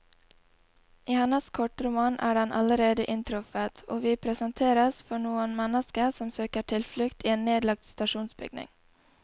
I hennes kortroman er den allerede inntruffet, og vi presenteres for noen mennesker som søker tilflukt i en nedlagt stasjonsbygning.